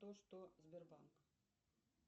то что сбербанк